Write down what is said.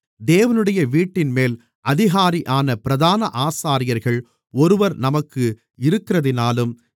தேவனுடைய வீட்டின்மேல் அதிகாரியான பிரதான ஆசாரியர்கள் ஒருவர் நமக்கு இருக்கிறதினாலும்